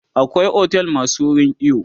akwai otel masu wurin iyo